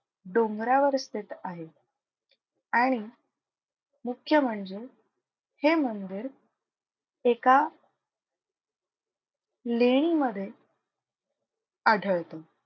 डोंगरावर स्थित आहे आणि मुख्य म्हणजे हे मंदिर एका लेणी मधे आढळतो.